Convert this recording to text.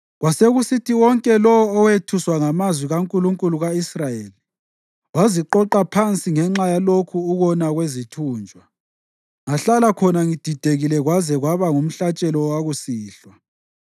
Kwasekusithi wonke lowo owethuswa ngamazwi kaNkulunkulu ka-Israyeli waziqoqa phansi kwami ngenxa yalokhu ukona kwezithunjwa. Ngahlala khonapho ngididekile kwaze kwaba ngumhlatshelo wakusihlwa.